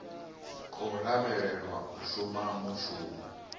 khou lavhelelwa u shuma mushumo